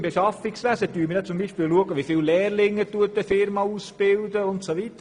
Im Beschaffungswesen schauen wir zum Beispiel darauf, wie viele Lehrlinge eine Unternehmung ausbildet.